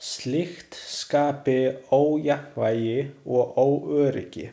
Slíkt skapi ójafnvægi og óöryggi.